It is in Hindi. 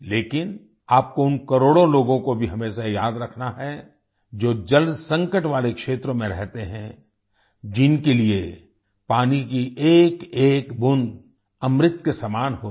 लेकिन आपको उन करोड़ों लोगों को भी हमेशा याद रखना है जो जल संकट वाले क्षेत्रों में रहते हैं जिनके लिए पानी की एकएक बूंद अमृत के समान होती है